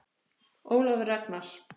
Ólafur Ragnar.